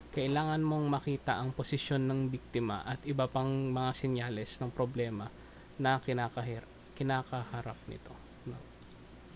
kailangan mong makita ang posisyon ng biktima at iba pang mga senyales ng problema na kinakaharap ng nito